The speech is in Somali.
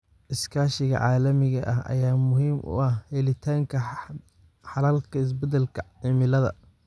Iskaashiga caalamiga ah ayaa muhiim u ah helitaanka xalalka isbedelka cimilada.